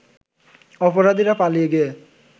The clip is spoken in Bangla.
অপরাধীরা পালিয়ে গিয়ে